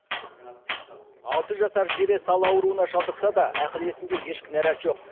алты жасар зере сал ауруына шалдықса да ақыл есінде еш кінарат жоқ